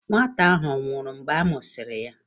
Nwata ahụ ọ̀ nwụrụ mgbe a mụsịrị ya?